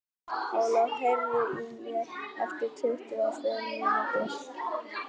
Ólöf, heyrðu í mér eftir tuttugu og fimm mínútur.